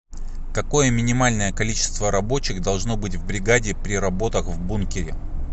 какое минимальное количество рабочих должно быть в бригаде при работах в бункере